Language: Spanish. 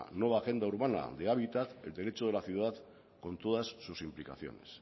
nueva agenda urbana de hábitat el derecho de la ciudad con todas sus implicaciones